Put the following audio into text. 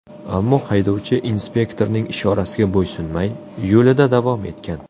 Ammo haydovchi inspektorning ishorasiga bo‘ysunmay, yo‘lida davom etgan.